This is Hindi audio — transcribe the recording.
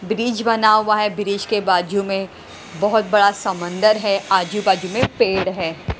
ब्रिज बना हुआ है ब्रिज के बाजू में बहुत बड़ा समंदर है आजू-बाजू में पेड़ हैं।